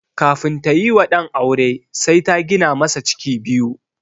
Kafin tayi wa ɗan aure sai ta gina masa ciki biyu.